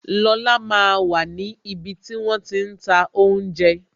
Lola máa wà ní ibi tí wón ti ń ta oúnjẹ